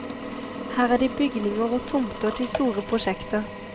Her er det bygninger og tomter til store prosjekter.